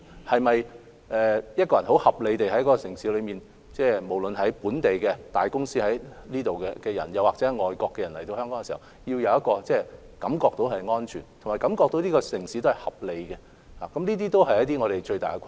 此外，很合理地，無論是這個城市裏的大公司、本地人，或外國人來港時，都需要感受到香港這個城市是安全和合理的，而這是我們面對的最大困難。